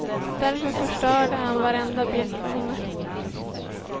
Därefter förstörde han varenda bild på henne.